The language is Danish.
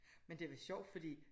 Men det lidt sjovt fordi